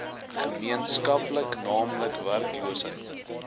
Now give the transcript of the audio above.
gemeenskaplik naamlik werkloosheid